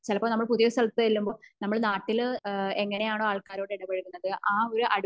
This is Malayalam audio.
ചിലപ്പോ നമ്മൾ പുതിയ സ്ഥലത്തു ചെല്ലുമ്പോ നമ്മള് നാട്ടില് എങ്ങനെ ആണോ ആൾക്കാരോട് ഇടപഴകുന്നത് അഹ് ഒരു